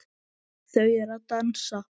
Þau eru að dansa